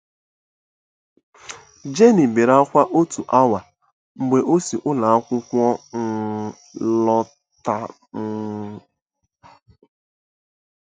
Jenny bere ákwá otu awa mgbe o si ụlọ akwụkwọ um lọta. um